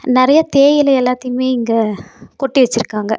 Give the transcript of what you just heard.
நறைய தேயிலை எல்லாத்தையுமே இங்க கொட்டி வெச்சுருக்காங்க.